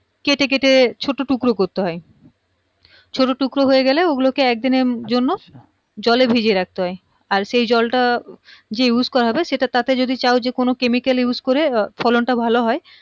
কেটে কেটে ছোট টুকরো করতে হয় ছোট টুকরো হয়ে গেলে ঐগুলো কে একদিনের জন্য জলে ভিজিয়ে রাখতে হয় আর সেই জলটা যে use করা হবে সেটা তাতে যদি চাও কোনো chemical use করে ফলনটা ভালো হয়